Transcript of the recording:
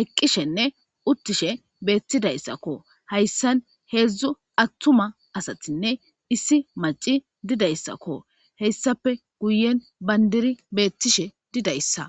eqqishenne uttishe beettidayssakko hayssan heedzdzu attuma asatinne issi maci didayssakko heyssape guyen bandiri beettishe didayssa.